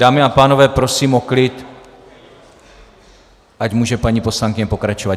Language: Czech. Dámy a pánové, prosím o klid, ať může paní poslankyně pokračovat.